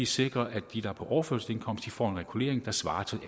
sikret at de der er på overførselsindkomst får en regulering der svarer til